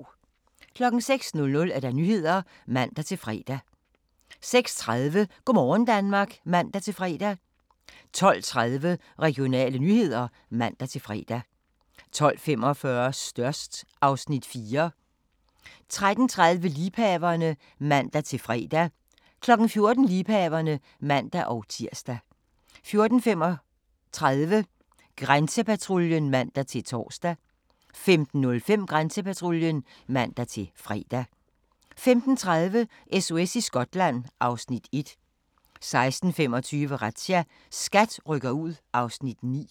06:00: Nyhederne (man-fre) 06:30: Go' morgen Danmark (man-fre) 12:30: Regionale nyheder (man-fre) 12:45: Størst (Afs. 4) 13:30: Liebhaverne (man-fre) 14:00: Liebhaverne (man-tir) 14:35: Grænsepatruljen (man-tor) 15:05: Grænsepatruljen (man-fre) 15:30: SOS i Skotland (Afs. 1) 16:25: Razzia – SKAT rykker ud (Afs. 9)